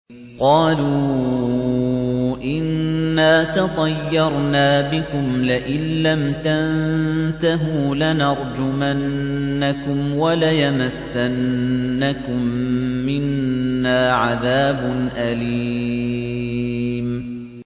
قَالُوا إِنَّا تَطَيَّرْنَا بِكُمْ ۖ لَئِن لَّمْ تَنتَهُوا لَنَرْجُمَنَّكُمْ وَلَيَمَسَّنَّكُم مِّنَّا عَذَابٌ أَلِيمٌ